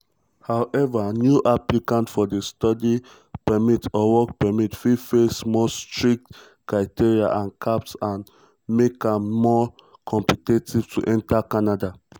howeva new applicants for study permits or work permits fit face more strict criteria and caps and make am more competitive to enta canada.